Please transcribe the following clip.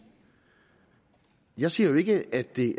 jeg siger jo ikke at det